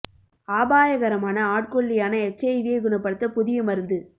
ஆபாயகரமான ஆட்கொல்லியான H I V யை குணப்படுத்த புதிய மருந்து